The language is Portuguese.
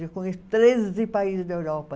Eu conheço treze países da Europa.